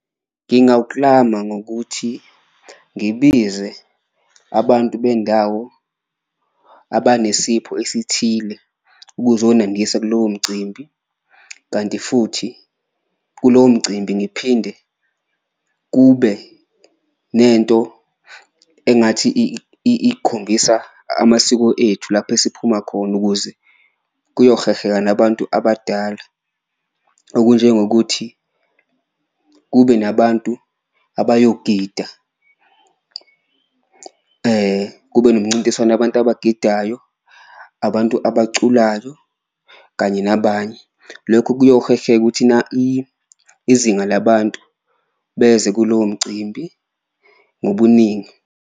Ngingawuklama ngokuthi ngibize abantu bendawo abanesipho esithile ukuzonandisa kulowo mcimbi, kanti futhi kulowo mcimbi ngiphinde kube nento engathi ikhombisa amasiko ethu lapho esiphuma khona ukuze kuyoheha nabantu abadala. Okunjengokuthi kuphela kube nabantu abayogida, kube nomncintiswano wabantu abagidayo, abantu abaculayo kanye nabanye, lokho kuyoheha ukuthi izinga labantu beze kulowo mcimbi ngobuningi.